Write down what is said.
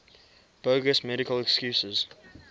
bogus medical excuses